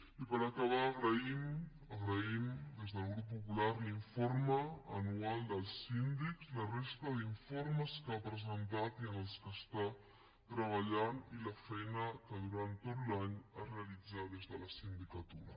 i per acabar agraïm agraïm des del grup popular l’informe anual dels síndics la resta d’informes que ha presentat i en els quals treballa i la feina que durant tot l’any es realitza des de la sindicatura